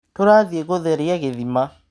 Tũrathie gũtheria gĩthima.